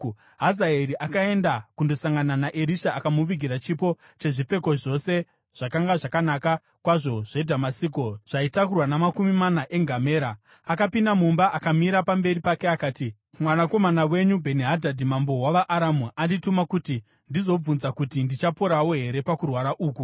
Hazaeri akaenda kundosangana naErisha, akamuvigira chipo chezvipfeko zvose zvakanga zvakanaka kwazvo zveDhamasiko zvaitakurwa namakumi mana engamera. Akapinda mumba akamira pamberi pake, akati, “Mwanakomana wenyu Bheni-Hadhadhi mambo wavaAramu andituma kuti ndizobvunza kuti, ‘Ndichaporawo here pakurwara uku?’ ”